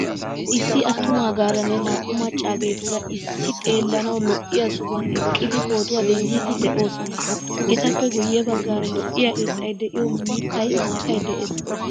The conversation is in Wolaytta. Issi attumagaaranne na'u maccageturaa issi xeelanawu lo'iyaa sohuwan eqqidi pootuwaa denddidi deosona. Etappe guye baggaara lo'iyaa irxxay de'iyo miittay, maatay de'ees.